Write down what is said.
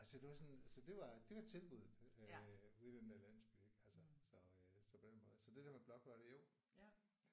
Altså det var sådan så det var det var tilbuddet øh ude i den der landsby ik altså. Så øh på den måde så det der med blokfløjte jo